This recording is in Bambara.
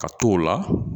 Ka t'o la